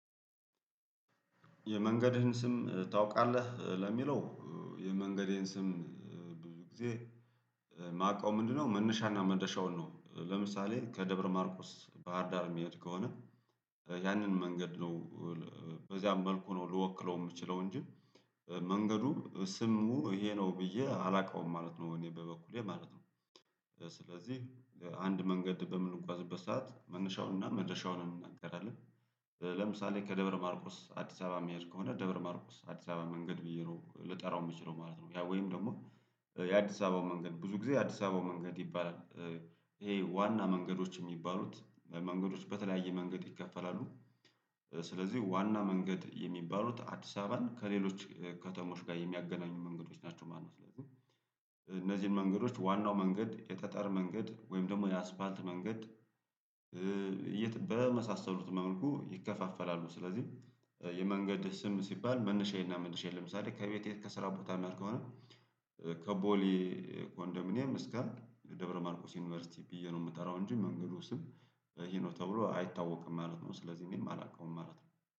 የመንገድህን ስም ታውቃለህ? ለሚለው የመንገዴን ስም ብዙ ጊዜ ማውቀው ምንድነው መነሻና መደረሻውን ነው ለምሳሌ ከደብረ ማርቆስ ባህርዳር የሚሄድ ከሆነ ያንን መንገድ ነው በዚያም መልኩ ነው ልወክለው የምችለው እንጂ መንገዱ ስሙ ይሄ ነው ብዬ አላውቀውም ማለት ነው እኔ በበኩሌ ማለት ነው ስለዚህ አንድ መንገድ በምንጓዝበት ሰዓት መነሻውንና መድረሻውን እንነጋገራለን ለምሳሌ ከደብረ ማርቆስ አዲስ አበባ የሚሄድ ከሆነ ደብረ ማርቆስ አዲስ አበባ መንገድ ብዬ ነው ልጠራው የምችለው ማለት ነው ያ ወይም ደግሞ የአዲስ አበባው መንገድ ብዙ ጊዜ የአዲስ አበባው መንገድ ይባላል ይሄ ዋና መንገዶች የሚባሉት መንገዶች በተለያየ መንገድ ይከፈላሉ ስለዚህ ዋና መንገድ የሚባሉት አዲስ አበባን ከሌሎች ከተሞች ጋር የሚያገናኙ መንገዶች ናቸው ማነው ስለዚህ እነዚህን መንገዶች ዋናው መንገድ የጠጠር መንገድ ወይም ደግሞ የአስፋልት መንገድ በመሳሰሉት መልኩ ይከፋፈላሉ ስለዚህ የመንገድህ ስም ሲባል መንሻዬና መድረሻዬ ለምሳሌ ከቤቴ ከስራው ቦታ ላድርግ ከሆነ ከቦሊ ኮንደሚኒየም እስከ ደብረማርቆስ ዩኒቨርሲቲ ብዬ ነው የምጠራው እንጂ መንገዱ ስም ይሄ ነው ተብሎ አይታወቅም ማለት ነው ስለዚህ እኔም አላውቀውም ማለት ነው።